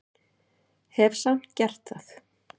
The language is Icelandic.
Hef samt gert það.